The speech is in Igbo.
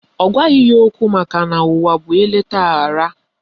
Ọ gwaghị ya okwu makana ụwa bụ eleta aghara